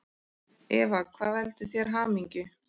Eva: Hvað veldur þér hamingju?